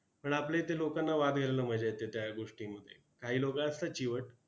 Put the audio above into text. पण आपल्या इथे लोकांना वाद घालण्यात मजा येते त्या गोष्टींमध्ये! काही लोकं असतात चिवट!